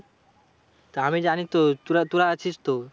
তা আমি জানি তো, তোরা তোরা আছিস তো।